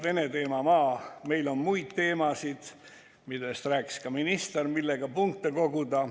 Vene teema maa, meil on muid teemasid, millest rääkis ka minister, millega punkte koguda.